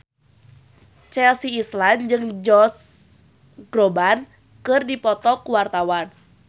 Chelsea Islan jeung Josh Groban keur dipoto ku wartawan